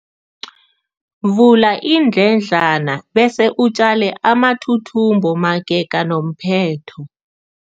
Vula iindledlana bese utjale amathuthumbo magega nomphetho.